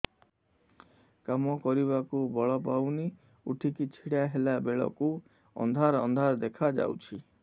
କାମ କରିବାକୁ ବଳ ପାଉନି ଉଠିକି ଛିଡା ହେଲା ବେଳକୁ ଅନ୍ଧାର ଅନ୍ଧାର ଦେଖା ଯାଉଛି